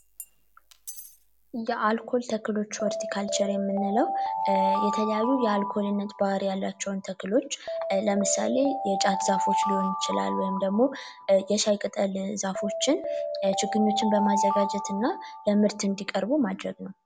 የአልኮል ተክሎች ካልቸር የምንለው የተለያዩ የአልኮልነት ባህሪ ያላቸውን ተክሎች ለምሳሌ የጫት ዛፎች ሊሆን ይችላል ወይም ደግሞ ዛፎችን ችግኞችን በማዘጋጀት እና ለምርት እንዲቀርቡ ማድረግ ነው